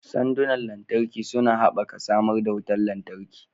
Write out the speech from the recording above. Sandunan lantarki suna haɓaka samar da wutar lantarki.